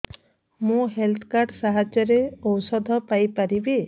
ମୁଁ health card ସାହାଯ୍ୟରେ ଔଷଧ ପାଇ ପାରିବି